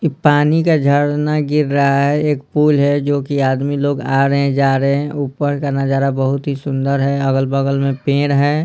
इ पानी का झड़ना गिर रहा है एक पुल है जो कि आदमी लोग आ रहे हैं जा रहे हैं ऊपर का नजारा बहुत ही सुंदर है अगल-बगल में पेड़ हैं।